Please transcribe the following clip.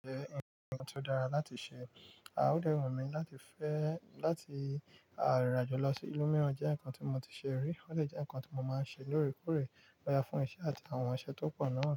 Ǹjẹ́ nkan tí ó dára láti ṣe, à ode wùmí láti fẹ́, láti àrìràjọlọ sí ìlú mìíràn jẹ́ nǹkan tí mo ti ṣe rí, ó sì jẹ́ nǹkan tí mo máa ń ṣe lóòrèkóòrè báyo fún iṣẹ́ àti àwọn ọṣẹ tó pọ̀ náà.